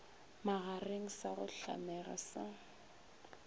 magareng sa go hlamega sa